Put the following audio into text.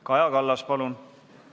Kaja Kallas, palun!